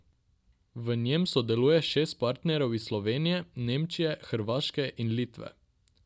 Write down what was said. V njem sodeluje šest partnerjev iz Slovenije, Nemčije, Hrvaške in Litve.